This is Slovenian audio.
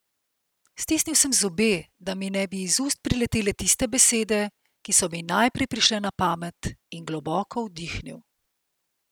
Stisnil sem zobe, da mi ne bi iz ust priletele tiste besede, ki so mi najprej prišle na pamet, in globoko vdihnil.